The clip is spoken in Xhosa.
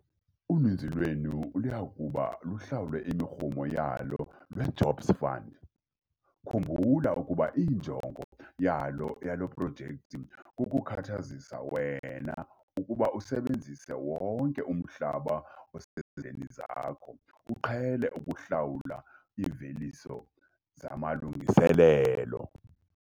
Uninzi lwenu luya kuba luhlawule imirhumo yalo lweJobs Fund - khumbula ukuba injongo yale projekthi kukukhathazisa wena ukuba usebenzise wonke umhlaba osesandleni zakho uqhele ukuhlawula iimveliso zamalungiselelo.